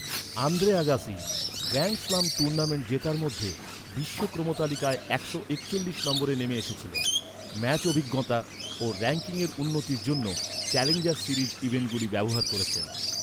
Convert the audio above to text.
Andre Agassi, grand slam tournament জেতার মধ্যে, বিশ্ব ক্রমতালিকায় একশো একচল্লিশ নম্বরে নেমে এসেছিলেন। ম্যাচ অভিজ্ঞতা ও রঙ্কিংয়ে উন্নতির জন্য চ্যালেঞ্জার সিরিজ ইভেন্টগুলি ব্যবহার করেছেন।